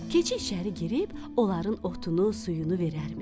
Keçi içəri girib, onların otunu, suyunu verərmiş.